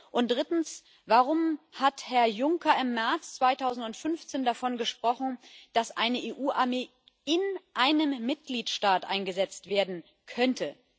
Und drittens Warum hat Herr Juncker im März 2015 davon gesprochen, dass eine EU Armee in einem Mitgliedstaat eingesetzt werden könnte?